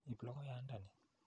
Ip logoyanda ni.